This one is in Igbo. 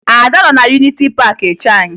Ada nọ na Yuniti Paakị eche anyị